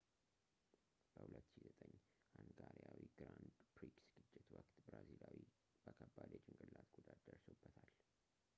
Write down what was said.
በ 2009 ሃንጋሪያዊ ግራንድ ፕሪክስ ግጭት ወቅት ብራዚላዊው በከባድ የጭንቅላት ጉዳት ደርሶበታል